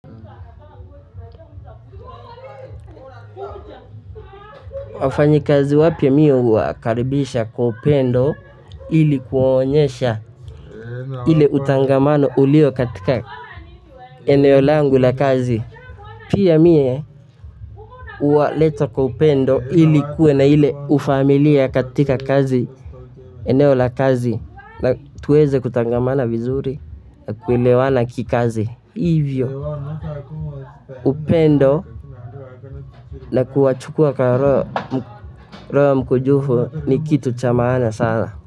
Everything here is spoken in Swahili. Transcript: Wafanya kazi wapya mi huwakaribisha kwa upendo ili kuonyesha ile utangamano ulio katika eneo langu la kazi pia mie huwaleta kwa upendo ili kuwe na ile ufamilia katika kazi eneo la kazi na tuweze kutangamana vizuri na kuelewana kikazi. Hivyo, upendo na kuwachukua kwa roho mkunjufu ni kitu cha maana sana.